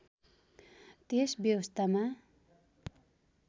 त्यस व्यवस्थामा